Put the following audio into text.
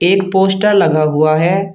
एक पोस्टर लगा हुआ है।